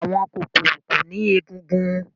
àwọn kokoro ko ni egungun